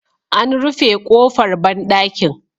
An rufe ƙofar banɗakin.